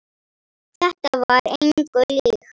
Þetta var engu líkt.